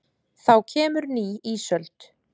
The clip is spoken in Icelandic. Þá kemur ný ísöld!